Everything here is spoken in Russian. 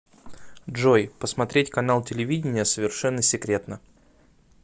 джой посмотреть канал телевидения совершенно секретно